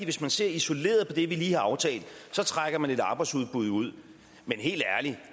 hvis man ser isoleret på det vi lige har aftalt så trækker man et arbejdsudbud ud men helt ærligt